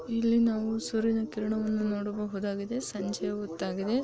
ಇಲ್ಲಿ ನಾವು ಸೂರ್ಯನ ಕಿರಣವನ್ನಾ ನೋಡಬಹುದಾಗಿದೆ ಸಂಜ್ಜೆ ಹೋತಾಗಿದೆ .